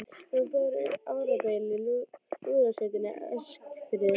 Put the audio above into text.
Við vorum báðir um árabil í lúðrasveitinni á Eskifirði.